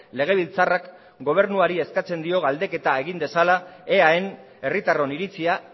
legebiltzarrak gobernuari eskatzen dio galdeketa egin dezala eaen herritarron iritzia